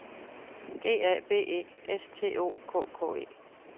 G A B E S T O K K E